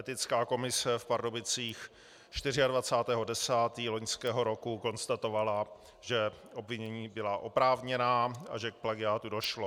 Etická komise v Pardubicích 24. 10. loňského roku konstatovala, že obvinění byla oprávněná a že k plagiátu došlo.